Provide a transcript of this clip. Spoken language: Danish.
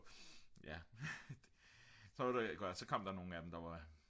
så kom der nogen af dem der var